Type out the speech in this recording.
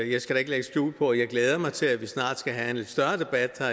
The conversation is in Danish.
jeg skal da ikke lægge skjul på at jeg glæder mig til at vi snart skal have en større debat her